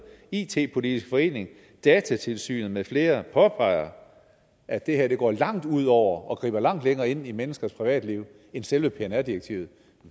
it politisk forening datatilsynet med flere påpeger at det her går langt ud over og griber langt mere ind i menneskers privatliv end selve pnr direktivet